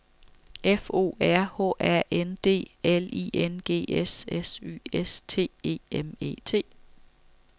F O R H A N D L I N G S S Y S T E M E T